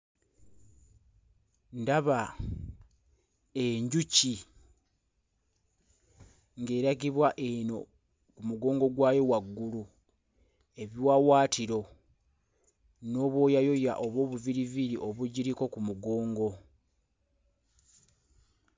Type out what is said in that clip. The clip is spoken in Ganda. Ndaba enjuki ng'eragibwa eno ku mugongo gwayo waggulu ebiwawaatiro n'obwoyayoya oba obuviiriviiri obugiriko ku mugongo.